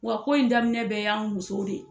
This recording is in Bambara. Wa ko in daminɛ bɛɛ y'an musow de.